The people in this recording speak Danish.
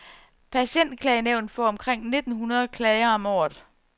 Patientklagenævnet får omkring nitten hundrede klager om året.